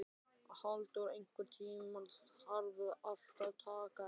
Valdór, einhvern tímann þarf allt að taka enda.